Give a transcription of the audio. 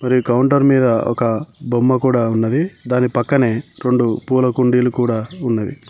మరి కౌంటర్ మీద ఒక బొమ్మ కూడా ఉన్నది దాని పక్కనే రెండు పూల కుండీలు కూడా ఉన్నవి.